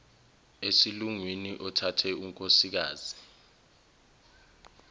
esilungwini othathe unkosikazi